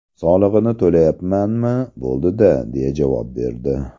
Solig‘ini to‘layapmanmi, bo‘ldi-da!” deya javob berdi.